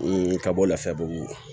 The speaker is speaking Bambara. ka bɔ lafiyabugu